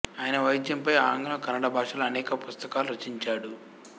ఆయన వైద్యంపై ఆంగ్లం కన్నడ భాషలలో అనేక పుస్తకాలు రచించాడు